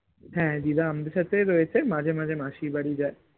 হ্যাঁ দিদা আমাদের সাথেই রয়েছে মাঝে মাঝে মাসির বাড়ি যায়